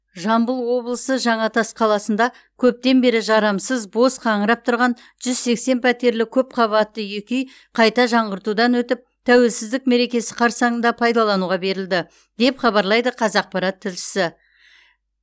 жамбыл облысы жаңатас қаласында көптен бері жарамсыз бос қаңырап тұрған жүз сексен пәтерлі көпқабатты екі үй қайта жаңғыртудан өтіп тәуелсіздік мерекесі қарсаңында пайдалануға берілді деп хабарлайды қазақпарат тілшісі